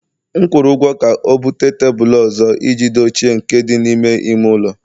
M kwụrụ ụgwọ ka o buta tebụl ọzọ iji dochie nke dị n'ime ime ụlọ